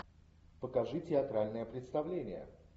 покажи театральное представление